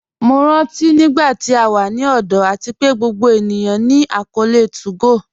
Mo rántí nígbàtí à wà ní ọ̀dọ̀ àti pé gbogbo ènìyàn ní akọọlẹ̀ 2go